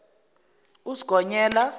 usigonyela